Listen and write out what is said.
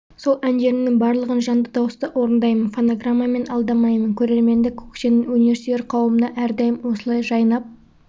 сол әндерімнің барлығын жанды дауыста орындаймын фонограммамен алдамаймын көрерменді көкшенің өнерсүйер қауымына әрдайым осылай жайнап